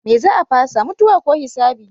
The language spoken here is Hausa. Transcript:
Me za a fasa? Mutuwa ko hisabi?